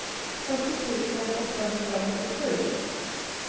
fyrtio tusen åttahundraåttiosju